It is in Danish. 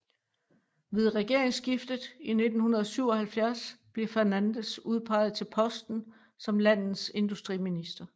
Ved regeringsskiftet i 1977 blev Fernandes udpeget til posten som landets industriminister